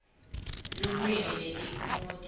lulwimi netiphumuti